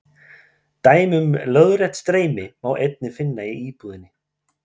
Dæmi um lóðrétt streymi má einnig finna í íbúðinni.